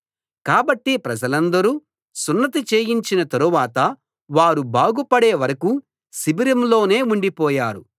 కాబట్టి ప్రజలందరికీ సున్నతి చేయించిన తరువాత వారు బాగుపడే వరకూ శిబిరం లోనే ఉండిపోయారు